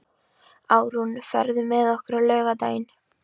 Árún, ferð þú með okkur á laugardaginn?